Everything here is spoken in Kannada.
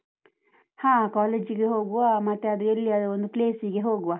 ಹಾ, college ಗೆ ಹೋಗುವ, ಮತ್ತೆ ಅದು ಎಲ್ಲಿಯಾದರೂ ಒಂದು place ಸಿಗೆ ಹೋಗುವ.